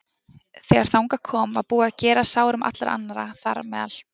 Þegar þangað kom var búið að gera að sárum allra annarra, þar á meðal